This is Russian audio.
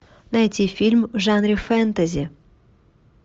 найти фильм в жанре фэнтези